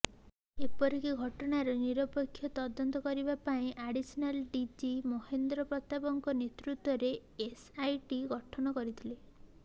ଏପରିରକି ଘଟଣାର ନିରପେକ୍ଷ ତଦନ୍ତ କରିବା ପାଇଁ ଆଡିସନାଲ୍ ଡିଜି ମହେନ୍ଦ୍ର ପ୍ରତାପଙ୍କ ନେତୃତ୍ୱରେ ଏସ୍ଆଇଟି ଗଠନ କରିଥିଲେ